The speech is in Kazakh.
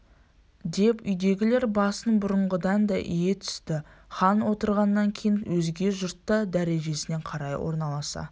деп үйдегілер басын бұрынғыдан да ие түсті хан отырғаннан кейін өзге жұрт та дәрежесіне қарай орналаса